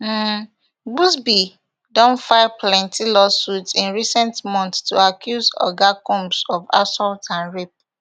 um buzbee don file plenti lawsuits in recent months to accuse oga combs of assault and rape